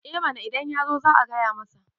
eh mana idan ya zo za a gaya masa